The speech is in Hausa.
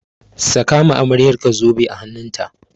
Saka ma amaryarka zobe a hannun ta!